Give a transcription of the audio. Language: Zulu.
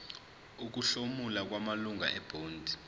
ukuhlomula kwamalungu ebhodi